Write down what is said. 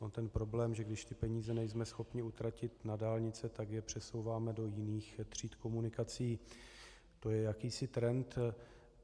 On ten problém, že když ty peníze nejsme schopni utratit na dálnice, tak je přesouváme do jiných tříd komunikací, to je jakýsi trend.